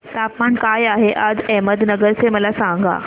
तापमान काय आहे आज अहमदनगर चे मला सांगा